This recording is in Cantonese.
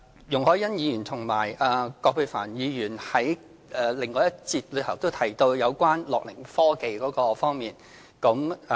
容海恩議員和葛珮帆議員在另外一個辯論環節也提到樂齡科技這方面。